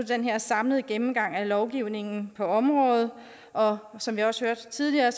den her samlede gennemgang af lovgivningen på området og som vi også hørte tidligere